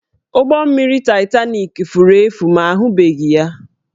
Ụgbọ mmiri Titanik furu efu ma ahụbeghị ya